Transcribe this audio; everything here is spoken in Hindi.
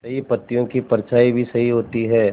सही पत्तियों की परछाईं भी सही होती है